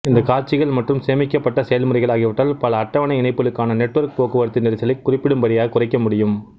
இந்தக் காட்சிகள் மற்றும் சேமிக்கப்பட்ட செயல்முறைகள் ஆகியவற்றால் பல அட்டவணை இணைப்புகளுக்கான நெட்வொர்க் போக்குவரத்து நெரிசலைக் குறிப்பிடும்படியாகக் குறைக்க முடியும்